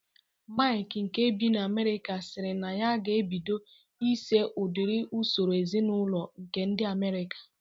Maịk nke bi na Amerịka siri na ya ga-ebido iso udiri usoro ezinaụlọ nke ndị Amerịka